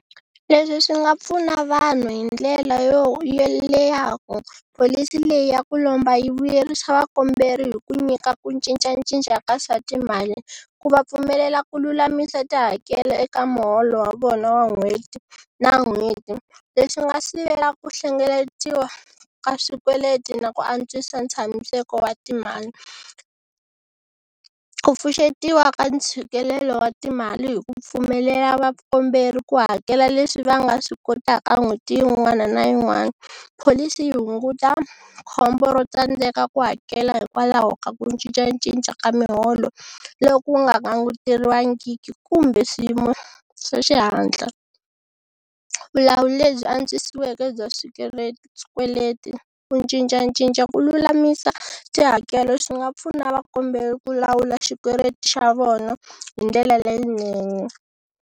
Leswi swi nga pfuna vanhu hi ndlela yo yo le ya ku pholisi leyi ya ku lomba yi vuyerisa vakomberi hi ku nyika ku cincacinca ka swa timali, ku va pfumelela ku lulamisa tihakelo eka muholo wa vona wa n'hweti na n'hweti leswi nga sivela ku hlengeletiwa ka swikweleti na ku antswisa tshamiseko wa timali, ku pfuxetiwa ka ntshikelelo wa timali hi ku pfumelela va kombela ku hakela leswi va nga swi kotaka n'hweti yin'wana na yin'wana pholisi yi hunguta khombo ro tsandzeka ku hakela hikwalaho ka ku cincacinca ka miholo loku nga languteriwangiki kumbe swiyimo swa xihatla, vulawuri lebyi antswiseke bya swikweleti. Ku cincacinca ku lulamisa tihakelo swi nga pfuna vakomberi ku lawula xikweleti xa vona hi ndlela leyinene.